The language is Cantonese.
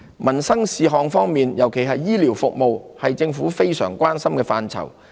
民生事項方面，尤其醫療服務，是政府非常關心的範疇。